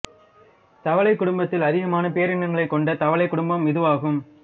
தவளைக் குடும்பத்தில் அதிகமான பேரினங்களைக் கொண்ட தவளைக் குடும்பம் இதுவாகும்